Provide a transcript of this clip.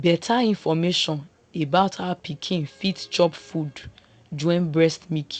beta information about how pikin fit chop food join breast milk